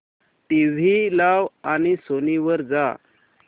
TV लाव आणि Sony वर जा